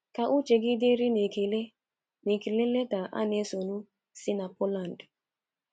Ka uche gị dịrị n'ekele n'ekele leta a na-esonu si na Poland